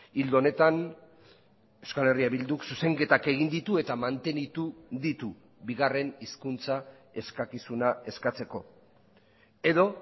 ildo honetan euskal herria bilduk zuzenketak egin ditu eta mantenitu ditu bigarren hizkuntza eskakizuna eskatzeko edo